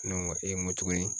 Ne ŋo ŋo tuguni?